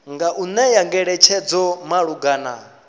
nga u ṅea ngeletshedzo malugana